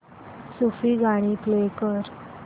सूफी गाणी प्ले कर